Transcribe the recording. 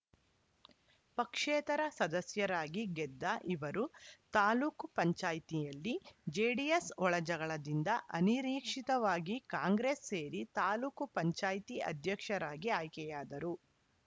ಪಕ್ಷೇತರ ಸದಸ್ಯರಾಗಿ ಗೆದ್ದ ಇವರು ತಾಲೂಕ್ ಪಂಚಾಯತ್ ನಲ್ಲಿ ಜೆಡಿಎಸ್‌ ಒಳಜಗಳದಿಂದ ಅನಿರೀಕ್ಷಿತವಾಗಿ ಕಾಂಗ್ರೆಸ್‌ ಸೇರಿ ತಾಲೂಕು ಪಂಚಾಯ್ತಿ ಅಧ್ಯಕ್ಷರಾಗಿ ಆಯ್ಕೆಯಾದರು